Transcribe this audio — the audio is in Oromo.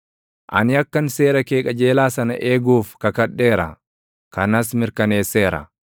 Ani akkan seera kee qajeelaa sana eeguuf, kakadheera; kanas mirkaneesseera.